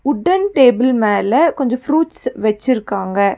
Wooden table மேல கொஞ்ச fruits வெச்சிருக்காங்க.